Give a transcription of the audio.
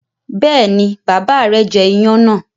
Bẹ́ẹ̀ni, bàbá rẹ̀ jẹ iyán náà.